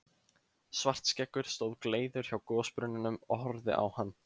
Svartskeggur stóð gleiður hjá gosbrunninum og horfði á hann.